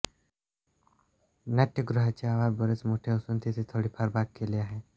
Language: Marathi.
नाट्यगृहाचे आवार बरेच मोठे असून तिथे थोडीफार बाग केली आहे